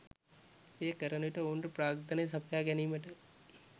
එය කරන විට ඔවුන්ට ප්‍රාග්ධනය සපයා ගැනීමට